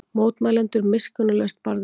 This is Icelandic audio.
Mótmælendur miskunnarlaust barðir